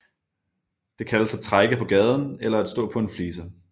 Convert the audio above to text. Det kaldes at trække på gaden eller at stå på en flise